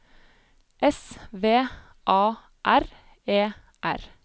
S V A R E R